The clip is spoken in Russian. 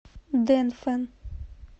дэнфэн